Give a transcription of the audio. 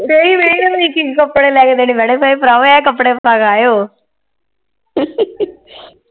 ਕੱਪੜੇ ਲੈ ਕੇ ਦੇਣੇ ਪੈਣੇ ਨਹੀਂ ਭਰਾਵੋ ਇਹ ਕੱਪੜੇ ਮੰਗਾਏ ਓ